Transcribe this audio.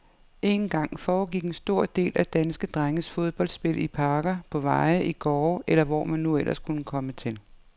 En gang, , foregik en stor del af danske drenges fodboldspil i parker, på veje, i gårde,, eller hvor man nu ellers kunne komme til.